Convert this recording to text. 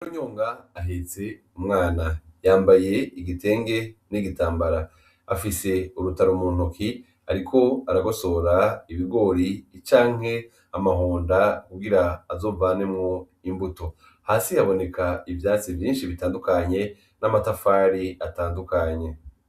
Inarunyonga ahetse umwana, yambaye igitenge n'igitambara afise urutaro mu ntoki, ariko aragosora ibigori icanke amahonda kugira azovanemwo imbuto hasi yaboneka ivyatsi vinshi bitandukanye n'amatafari atandukanye.